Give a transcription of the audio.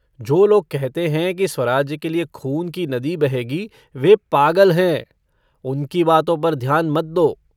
जो लोग कहते हैं कि स्वाराज्य के लिए खून की नदी बहेगी वे पागल हैं उनकी बातों पर ध्यान मत दो।